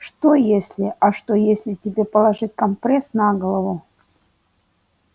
что если а что если тебе положить компресс на голову